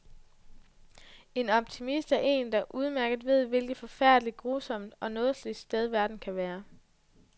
En optimist er en, der udmærket ved, hvilket forfærdeligt, grusomt og nådesløst sted verden kan være.